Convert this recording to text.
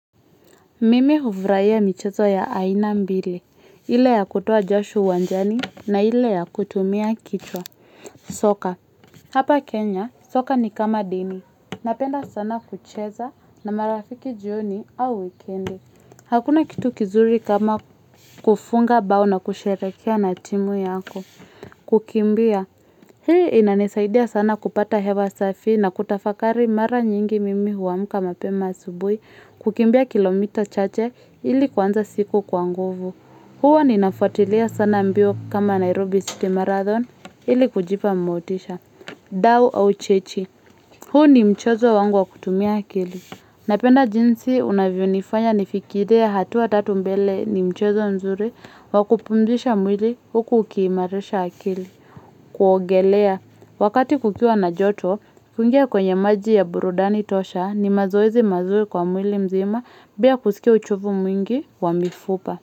Mimi huvuraia michezo ya aina mbili, ile ya kutoa jasho uwanjani na ile ya kutumia kichwa. Soka, hapa Kenya, soka ni kama dini, napenda sana kucheza na marafiki jioni au wikendi. Hakuna kitu kizuri kama kufunga bao na kusherekea na timu yako. Kukimbia, hii inanisaidia sana kupata hewa safi na kutafakari mara nyingi mimi huamka mapema asubui. Kukimbia kilomita chache ili kuanza siku kwa nguvu huwa ninafuatilia sana mbio kama Nairobi City Marathon ili kujipa motisha Dau au chechi huu ni mchezo wangu wa kutumia akili Napenda jinsi unavyo nifanya nifikirie hatua tatu mbele ni mchezo mzuri wa kupumzisha mwili huku ukiimarisha akili kuogelea Wakati kukiwa na joto kuingia kwenye maji ya burudani tosha ni mazoezi mazuri kwa mwili mzima bila kusikia uchovu mwingi wa mifupa.